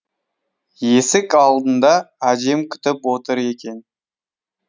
есік алдында әжем күтіп отыр екен